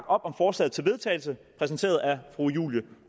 om forslaget til vedtagelse præsenteret af fru julie